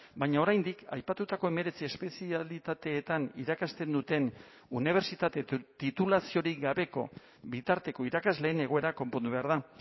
baina oraindik aipatutako hemeretzi espezialitateetan irakasten duten unibertsitate titulaziorik gabeko bitarteko irakasleen egoera konpondu behar da